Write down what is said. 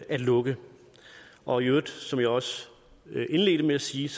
at lukke og i øvrigt som jeg også indledte med at sige